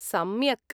सम्यक्।